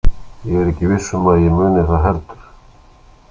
Ég er ekki viss um að ég muni það heldur.